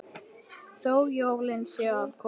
Þó jólin séu að koma.